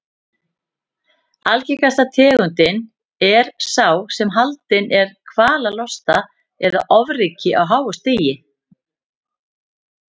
Algengasta tegundin er sá sem haldinn er kvalalosta eða ofríki á háu stigi.